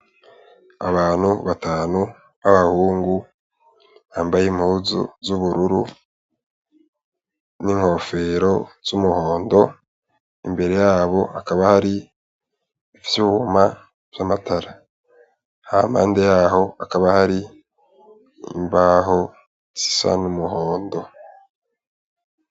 Abantu batanu b'abahungu bambaye impuzu z'ubururu n'inkofero z'umuhondo, imbere yabo hakaba hari ivyuma vy'amatara, hampande yaho hakaba hari imbaho zisa n'umuhondo.